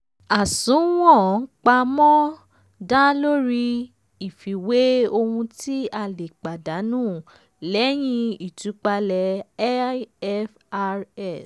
àsùnwọ̀n pamọ́ um dá lórí um ìfiwé ohun tí a lè lè pàdánù lẹ́yìn ìtúpalẹ̀ ifrs. um